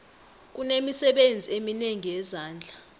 kunemisebenzi eminengi yezandla